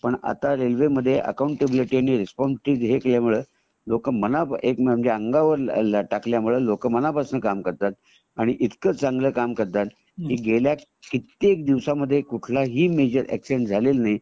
पण आता रेल्वे मध्ये अककोंऊनटेबीलिटी आणि रेस्पॉन्सिबिलिटी मुळे लोक मन अंगावर टाकल्यामुळे लोक मनापासून काम करतात आणि इतकं चांगला काम करतात की गेल्या कित्येक दिवसामध्ये कुठला ही मेजर अॅक्सिडेंट झालेला नाही